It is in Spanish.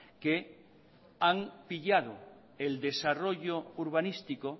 que han pillado el desarrollo urbanístico